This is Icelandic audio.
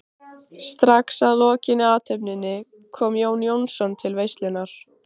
Strax að lokinni athöfninni kom Jón Jónsson til veislunnar.